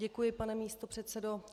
Děkuji, pane místopředsedo.